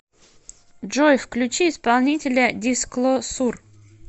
джой включи исполнителя дисклосур